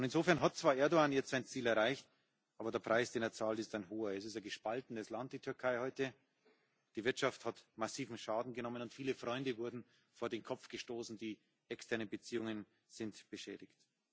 Insofern hat zwar Erdoğan jetzt sein Ziel erreicht, aber der Preis, den er zahlt, ist ein hoher Die Türkei ist heute ein gespaltenes Land, die Wirtschaft hat massiven Schaden genommen, und viele Freunde wurden vor den Kopf gestoßen, die externen Beziehungen sind beschädigt.